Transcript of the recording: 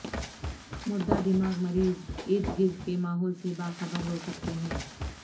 مردہ دماغ مریض ارد گرد کے ماحول سے باخبر ہو سکتے ہیں